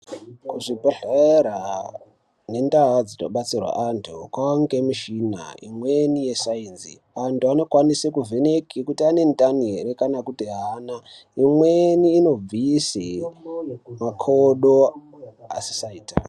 Kuzvibhehlera nendaa dzinobatsirwa antu kwaangemishina imweni yesainzi. Antu anokwanisa kuvheneke kuti anendani here kana kuti haana. Imweni inobvise makodo asisaita.